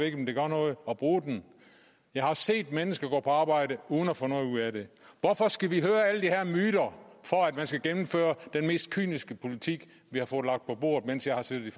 ikke om det gør noget at bruge den jeg har set mennesker gå på arbejde uden at få noget af det hvorfor skal vi høre alle de her myter for at man skal gennemføre den mest kyniske politik vi har fået lagt på bordet mens jeg har siddet